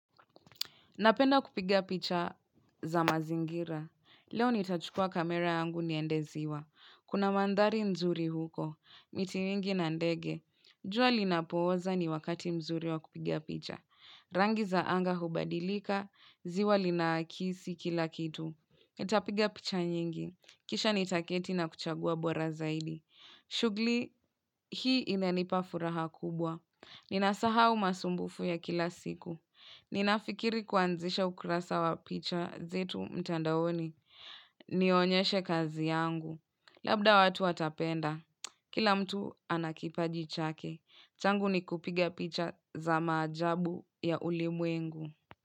Napenda kupiga picha za mazingira. Leo nitachukua kamera yangu niende ziwa. Kuna mandari nzuri huko. Miti mingi na ndege. Jua linapooza ni wakati mzuri wa kupiga picha. Rangi za anga hubadilika. Ziwa lina kisi kila kitu. Nitapiga picha nyingi. Kisha nitaketi na kuchagua bora zaidi. Shughli hii inanipa furaha kubwa. Ninasahau masumbufu ya kila siku. Ninafikiri kuanzisha ukurasa wa picha zetu mtandaoni. Nionyeshe kazi yangu. Labda watu watapenda. Kila mtu anakipajichake. Changu ni kupiga picha za maajabu ya ulimwengu.